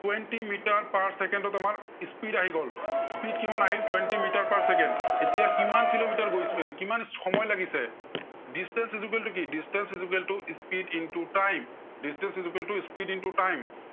twenty metre per second ত আমাৰ speed আহি গ'ল, speed কিমান আহিল twenty মিটাৰ per চেকেণ্ড। এতিয়া কিমান কিলোমিটাৰ গৈছে এৰ কিমান সময় লাগিছে, distance equal টো কি distance equal to speed in to time, distance equal to speed in to time